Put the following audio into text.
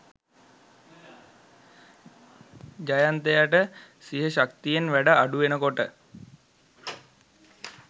ජයන්තයට සිහ ශක්තියෙන් වැඩ අඩුවෙනකොට